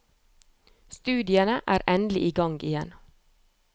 Studiene er endelig i gang igjen.